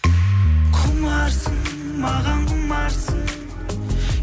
құмарсың маған құмарсың